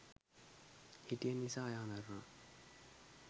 හිටිය නිසා එයා මැරුණා